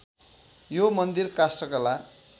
यो मन्दिर काष्ठकला